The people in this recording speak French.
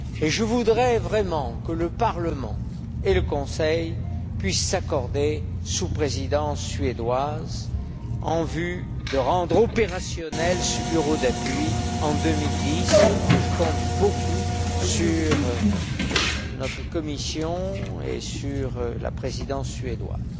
Je voudrais vraiment que le Parlement et le Conseil puissent s'accorder sous la Présidence suédoise en vue de rendre ce bureau d'appui opérationnel en 2010 et je compte beaucoup sur notre Commission et sur la Présidence suédoise.